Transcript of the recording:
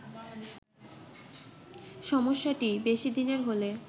সমস্যাটি বেশি দিনের হলে